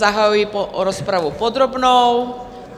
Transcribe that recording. Zahajuji rozpravu podrobnou.